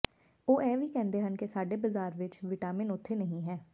ਉਹ ਇਹ ਵੀ ਕਹਿੰਦੇ ਹਨ ਕਿ ਸਾਡੇ ਬਾਜ਼ਾਰ ਵਿਚ ਿਵਟਾਿਮਨ ਉਥੇ ਨਹੀ ਹੈ